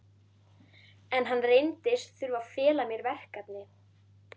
En hann reyndist þurfa að fela mér verkefni!